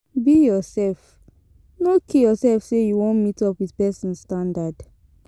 Be yourself no kill yourself say you won meet up with persin standard